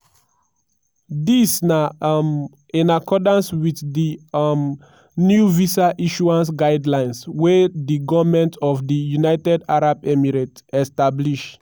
dis na um in accordance wit di um new visa issuance guidelines wey di goment of di united arab emirates establish.